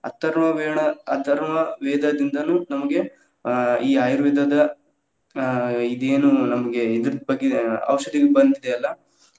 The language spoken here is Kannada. ಅಥರ್ವ ವೇಣ ಅಥರ್ವ ವೇದದಿಂದನೂ ನಮಗೆ ಆ ಈ ಆಯುರ್ವೇದದ ಅ ಇದೇನು ನಮಗೆ ಇದರ್ದ ಬಗ್ಗೆ ಆ ಔಷಧಿ ಬಂದಿದೆಯಲ್ಲಾ.